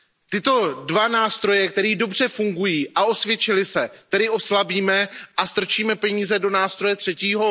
Tyto dva nástroje, které dobře fungují a osvědčily se, tedy oslabíme a strčíme peníze do nástroje třetího?